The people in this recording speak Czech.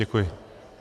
Děkuji.